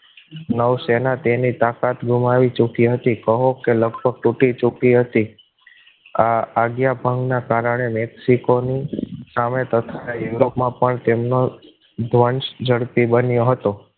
નવસેના તેની તાકાત ગુમાવી ચૂકી હતી કહો કે લગભગ તૂટી ચુકી હતી આ આજ્ઞા ભાવને કારણે મેક્સિકો ની સામે તથા યુરોપમાં પણ તેમનો ધ્વન્સ ઝડપી બન્યો હતો